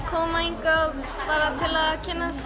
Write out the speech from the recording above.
koma hingað bara til að kynnast